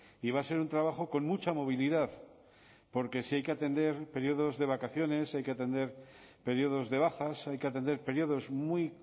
y va a ser un trabajo con mucha movilidad porque si hay que atender periodos de vacaciones hay que atender periodos de bajas hay que atender periodos muy